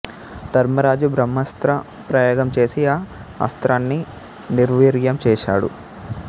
ధర్మరాజు బ్రహ్మాస్త్ర ప్రయోగం చేసి ఆ అస్త్రాన్ని నిర్వీర్యం చేసాడు